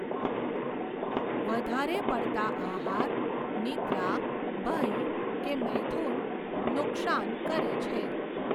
વધારે પડતાં આહાર, નિદ્રા, ભય કે મૈથુન નુકશાન કરે છે.